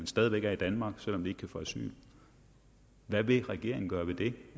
stadig væk er i danmark selv om de ikke kan få asyl hvad vil regeringen gøre ved det